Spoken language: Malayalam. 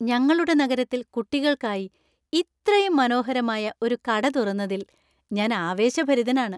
ഞങ്ങളുടെ നഗരത്തിൽ കുട്ടികൾക്കായി ഇത്രയും മനോഹരമായ ഒരു കട തുറന്നതിൽ ഞാൻ ആവേശഭരിതനാണ്.